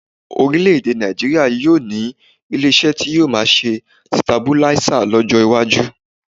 Orílẹ̀-èdè Nàìjííríà yóò ní ilé-iṣẹ́ tí yóò máa ṣe sitabuláísà lọ́jọ́ iwájú